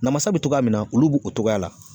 Namasa bi togoya min na, olu b'o o togoya la.